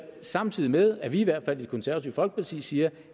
samtidig med at i hvert fald det konservative folkeparti siger